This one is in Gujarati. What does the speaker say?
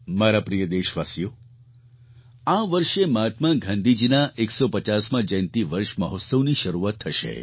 મારા પ્રિય દેશવાસીઓ આ વર્ષે મહાત્મા ગાંધીજીના 150મા જયંતી વર્ષ મહોત્સવની શરૂઆત થશે